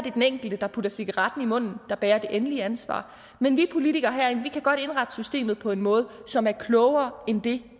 er den enkelte der putter cigaretten i munden der bærer det endelige ansvar men vi politikere herinde kan godt indrette systemet på en måde som er klogere end det